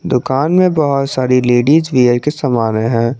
दुकान में बहुत सारी लेडिस वियर के समाने है।